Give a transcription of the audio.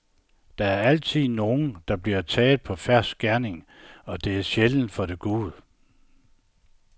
Der er altid nogen, der bliver taget på fersk gerning, og det er sjældent for det gode.